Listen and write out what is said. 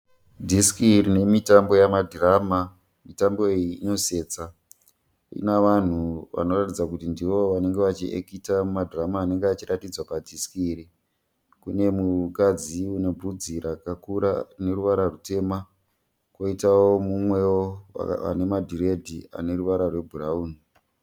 Dhisiki rine mitambo yema dhirama . Mitambo iyi inosetsa. Rina vanhu vanoratidza kuti ndivo vanenge vachiekita mumadhirama anenge achiratidzwa padhisiki iri. Kune mukadzi une vhudzi rakakura rine ruvara rutema. Koitawo umwewo ane madhiredhi ane ruvara rwebhurauni.